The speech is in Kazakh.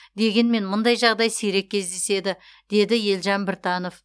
дегенмен мұндай жағдай сирек кездеседі деді елжан біртанов